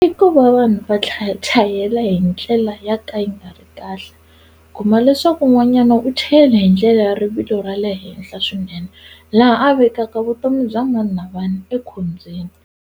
I ku va vanhu va chayela hi ndlela ya ka yi nga ri kahle kuma leswaku n'wanyana u cheyela hi ndlela ya rivilo ra le henhla swinene laha a vekaka vutomi bya mani na mani ekhombyeni.